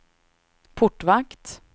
portvakt